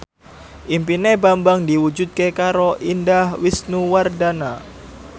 impine Bambang diwujudke karo Indah Wisnuwardana